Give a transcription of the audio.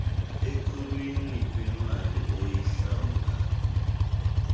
ekhulwini kwimali oyihlawula